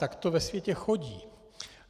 Tak to ve světě chodí.